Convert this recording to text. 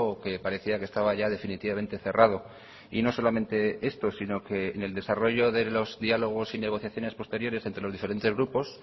que parecía que estaba ya definitivamente cerrado y no solamente esto sino que en el desarrollo de los diálogos y negociaciones posteriores entre los diferentes grupos